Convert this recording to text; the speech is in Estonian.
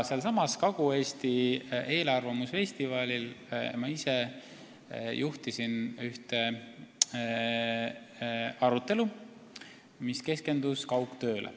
Sellelsamal Kagu-Eesti eelarvamusfestivalil ma ise juhtisin ühte arutelu, mis keskendus kaugtööle.